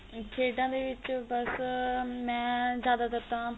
ਆ ਖੇਡਾ ਦੇ ਵਿੱਚ ਬੱਸ ਮੈਂ ਜਿਆਦਾ ਤਰ ਤਾਂ